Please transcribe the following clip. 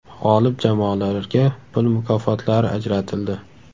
G‘olib jamoalarga pul mukofotlari ajratildi.